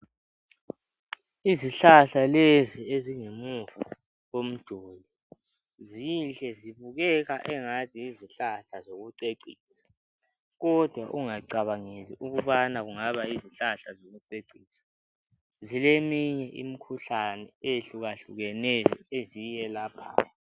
Izihlahla lezi ezingemuva komduli zinhle zibukeka njengezihlahla zokucecisa kodwa ungacabangeli ukuthi ngezokucecisa zilemikhuhlane etshiyeneyo eziyelaphayo